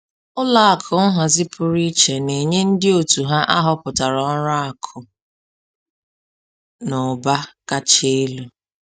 Ụlọ akụ nhazi pụrụ iche na-enye ndị òtù ya ahọpụtara ọrụ akụ na ụba kacha elu